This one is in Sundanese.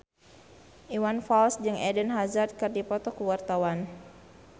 Iwan Fals jeung Eden Hazard keur dipoto ku wartawan